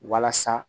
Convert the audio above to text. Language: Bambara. Walasa